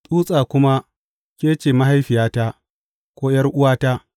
tsutsa kuma ke ce, Mahaifiyata’ ko ’yar’uwata,’